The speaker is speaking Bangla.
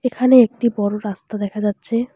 এখানে একটি বড় রাস্তা দেখা যাচ্ছে।